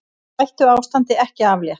Hættuástandi ekki aflétt